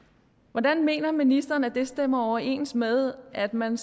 hvordan mener ministeren at det stemmer overens med at man